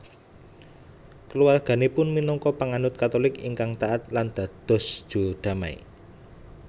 Kulawarganipun minangka panganut Katolik ingkang taat lan dados juru damai